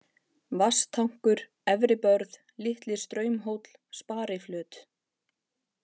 Vatnstankur, Efribörð, Litli-Straumhóll, Spariflöt